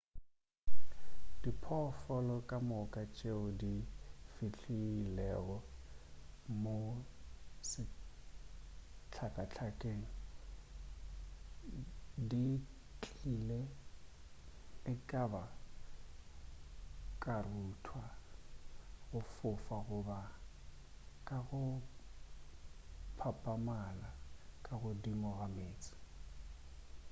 diphoofolo ka moka tšeo di fihlilego mo sehlakahlakeng di tlile ekaba ka go rutha go fofa goba ka go phapamala ka godimo ga meetse